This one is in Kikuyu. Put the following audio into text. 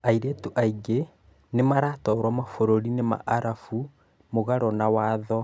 Airĩtu aingĩ nĩmaratwaro mabũrũri-inĩ ma arabu mũgarũ na watho